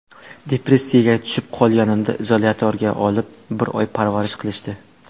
Depressiyaga tushib qolganimda izolyatorga olib, bir oy parvarish qilishdi.